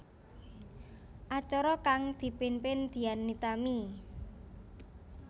Acara kang dipimpin Dian Nitami